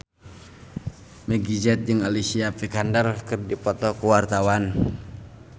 Meggie Z jeung Alicia Vikander keur dipoto ku wartawan